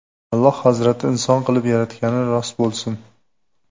Alloh Hazrati inson qilib yaratgani rost bo‘lsin.